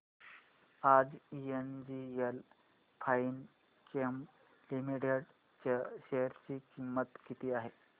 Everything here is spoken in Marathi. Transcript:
आज एनजीएल फाइनकेम लिमिटेड च्या शेअर ची किंमत किती आहे